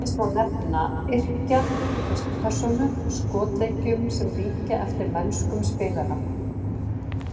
Til dæmis má nefna yrkja í fyrstu persónu skotleikjum sem líkja eftir mennskum spilara.